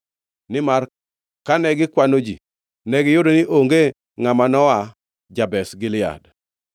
Nimar kane gikwano ji, negiyudo ni onge ngʼama noa jo-Jabesh Gilead.